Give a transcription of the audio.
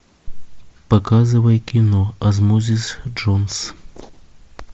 показывай кино осмосис джонс